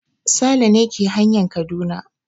Sale ne ke hanyan Kaduna.